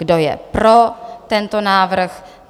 Kdo je pro tento návrh?